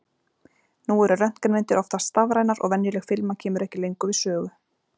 Nú eru röntgenmyndir oftast stafrænar og venjuleg filma kemur ekki lengur við sögu.